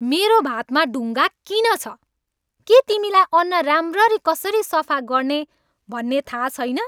मेरो भातमा ढुङ्गा किन छ? के तिमीलाई अन्न राम्ररी कसरी सफा गर्ने भन्ने थाहा छैन?